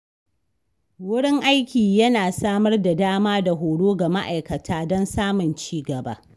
Wurin aiki yana samar da dama da horo ga ma'aikata don samun ci gaba.